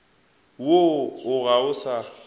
woo o ga o sa